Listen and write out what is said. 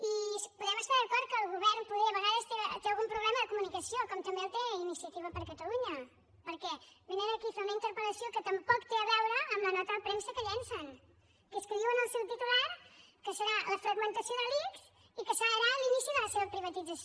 i podem estar d’acord que el govern poder a vegades té algun problema de comunicació com també el té iniciativa per catalunya perquè vénen aquí a fer una interpel·lació que tampoc té a veure amb la nota de premsa que llancen que és que diu en el seu titular que serà la fragmentació de l’ics i que serà l’inici de la seva privatització